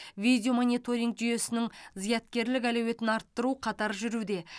видеомониторинг жүйесінің зияткерлік әлеуетін арттыру қатар жүруде